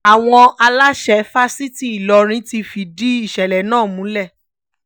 àwọn aláṣẹ fásitì ìlọrin ti fìdí ìṣẹ̀lẹ̀ náà múlẹ̀